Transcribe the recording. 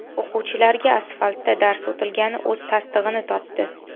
O‘quvchilarga asfaltda dars o‘tilgani o‘z tasdig‘ini topdi.